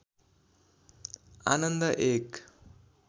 आनन्द एक